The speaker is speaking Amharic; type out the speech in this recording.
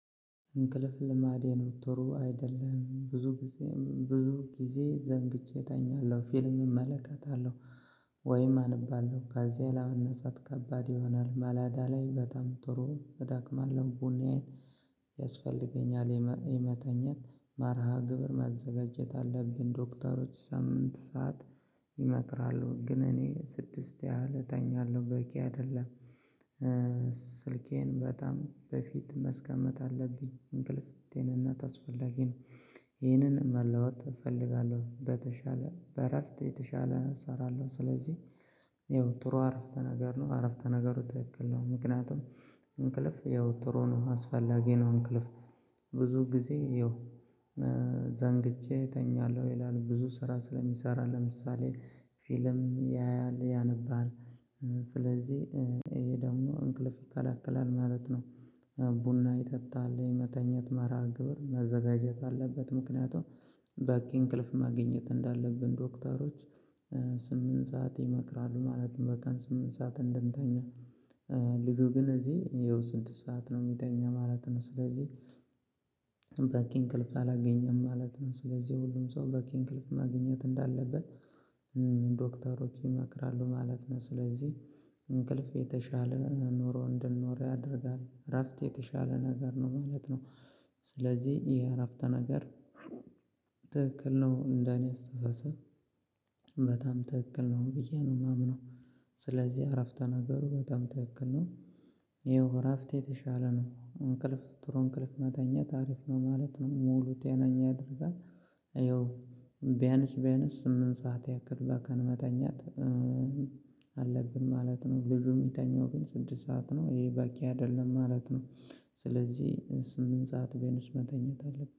እንቅልፍ ልማዴ ነው ቶሎ አይደለም ብዙ ጊዜም ብዙ ጊዜ ዘንግቼ እተኛለሁ ፊልም እመለከታለሁ። ወይም አንባለው ከዚያ ለመነሰአት ከባድ ይሆናል መላዳ ላይ በጣም ጥሩ ደክማ ለቡኔን። ያስፈልገኛል ይመተኛት መርሃ ግብር መዘጋጀት አለብን ዶክተሮች ሳምንት ሰዓት ይመክራሉ ግን እኔ ስድስት እለኛለሁ በቂ አይደለም። ስልኬን በጣም በፊት መስቀመጥ አለብኝ እንቅልፍ ለጤንነት አስፈላጊ ነው። ይሄንን መለወጥ እፈልጋለሁ በተሻለ እረፍት የተሻለ እሰራለሁ። ስለዚህ የወትሮ አረፍተ ነገር ነው አረፍተ ነገሩ ትክክል ነው። ምክንያቱም ያው ጥሩ ነው አስፈላጊ ነው እንቅልፍ። ብዙ ጊዜ ይኸው። ዘንግቼ እተኛለሁ ይላል ብዙ ስራ ስለሚሰራ ለምሳሌ ፊልም ያያል ያነባል። ይሄ ደግሞ እንቅልፍ ይከለክላል ማለት ነው። ቡና ይጠጣል መተኘት መርሃ ግብር መዘጋጀት አለበት። ምክንያቱም በቂ እንቅልፍ ማግኘት እንዳለብን ዶክተሮች ስምንት ሰዓት ይመክራሉ ማለት ነው። በቀን ስምንት ሰዓት እንደምተኛ። ልጁ ግን እዚህ ይኸው ስድስት ሰዓት ነው የሚተኛ ማለት ነው። ስለዚህ በቂ እንቅልፍ አላገኘም ማለት ነው። ስለዚህ ሁሉም ሰው በቂ እንቅልፍ ማግኘት እንዳለበት ዶክተሮች ይመክራሉ ማለት ነው። ስለዚህ እንቅልፍ የተሻለ ኖሮ እንድንኖር ያደርጋል እረፍት የተሻለ ነገር ነው ማለት ነው። ስለዚህ የእረፍተ ነገር ትክክል ነው እንደኔ አስተሳሰብ። በጣም ትክክል ነው ብዬ ነው የማምነው። ስለዚህ እረፍተ ነገሩ በጣም ትክክል ነው። ይኸው እረፍት የተሻለ ነው እንቅልፍ ጥሩ እንቅልፍ መተኛ አሪፍ ነው ማለት ነው ሙሉ ጤነኛ ያደርጋል። ቢያንስ ቢያንስ ስምንት ሰዓት ያክል በቀን መተኛት። አለብን ማለት ነው። ልጁ የሚተኛው ግን ስድስት ሰዓት ነው ይሄ ባኪ አይደለም ማለት ነው። ስለዚህ ስምንት ሰዓት ቢያንስ መተኛት አለብን